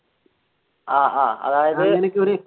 ആഹ് ആഹ്